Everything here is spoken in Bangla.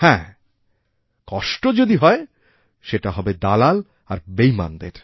হ্যাঁ কষ্ট যদি হয় সেটাহবে দালাল আর বেইমানদের